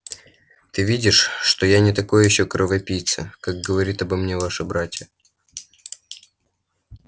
ты видишь что я не такой ещё кровопийца как говорит обо мне ваша братья